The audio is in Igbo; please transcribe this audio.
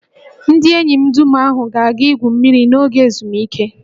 Ndị enyi dum ahụ ga-aga igwu mmiri n'oge ezumike